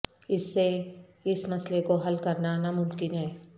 اس سے اس مسئلہ کو حل کرنا ناممکن ہے